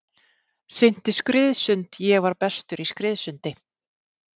Synti skriðsund ég var bestur í skriðsundi.